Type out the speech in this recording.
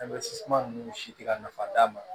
ninnu si tɛ ka nafa d'a ma